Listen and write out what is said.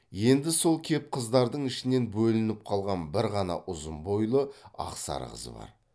енді сол кеп қыздардың ішінен бөлініп қалған бір ғана ұзын бойлы ақсары қыз бар